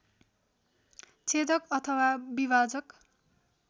छेदक अथवा विभाजक